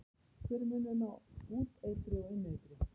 Hver er munurinn á úteitri og inneitri?